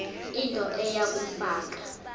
into eya kumfaka